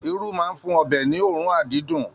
Irú máa n fún ọbẹ ní oorun adídun.